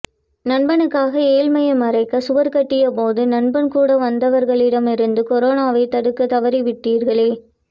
நண்பனுக்காக ஏழ்மையை மறைக்க சுவர்க்கட்டிய போது நண்பன் கூட வந்தவர்களிடம் இருந்து கொரோனாவை தடுக்க தவறிவிட்டிர்களே